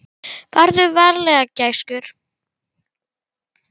Farðu varlega gæskur.